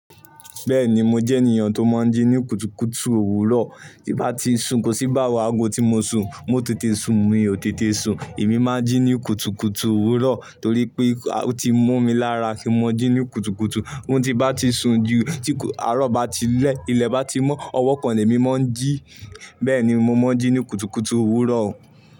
Bẹ́ẹ̀ni, mo jẹ́ ènìyàn tó máa ń jí ní kùtùkùtù òwúrọ̀. Tí bá ti sùn, kò sí bá wáago tí mo sùn, mo ò tètè sùn, mi ò tètè sùn. Èmi máa ń jí ní kùtùkùtù òwúrọ̀ torí pé ó ti mú mi lára kí n máa jí ní kùtùkùtù. Ó ti bá ti sùn ju, tí àárọ̀ bá ti lẹ́, ilẹ̀ bá ti mọ́, ọwọ́ kan ni èmi máa ń jí. Bẹ́ẹ̀ni, mo máa ń jí ní kùtùkùtù òwúrọ̀